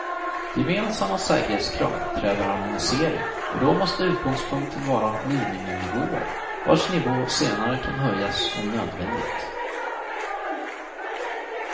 Gemensamma säkerhetskrav kräver harmonisering och då måste utgångspunkten vara miniminivåer, vars nivå senare kan höjas om nödvändigt.